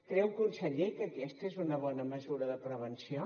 creu conseller que aquesta és una bona mesura de prevenció